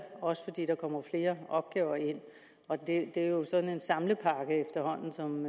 også fordi der kommer flere opgaver ind og det er jo sådan en samlepakke efterhånden som